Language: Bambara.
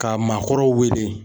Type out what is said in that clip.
Ka maakɔrɔw wele.